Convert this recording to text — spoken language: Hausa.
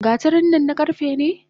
Gatarin nan na karfe ne?